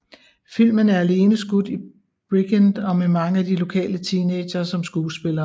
Filmen er alene skudt i Bridgend og med mange af de lokale teenagere som skuespillere